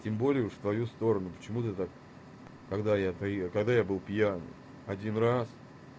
тем более в твою сторону почему ты так когда я приеду когда я был пьяный один раз